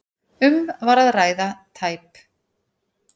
Um var að ræða tæp